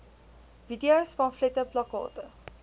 videos pamflette plakkate